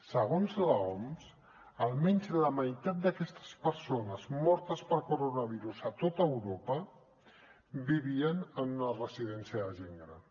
segons l’oms almenys la meitat d’aquestes persones mortes per coronavirus a tot europa vivien en una residència de gent gran